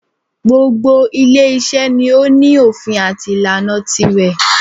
Gbogbo ile iṣẹ́ ni o ní òfin àti ìlànà tirẹ̀.